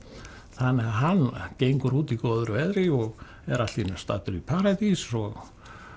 þannig að hann gengur úti í góðu veðri og er allt í einu staddur í paradís og